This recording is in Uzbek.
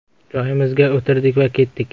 Joyimizga o‘tirdik va ketdik.